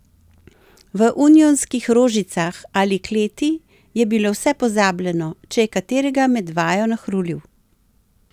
V Unionskih Rožicah ali kleti je bilo vse pozabljeno, če je katerega med vajo nahrulil.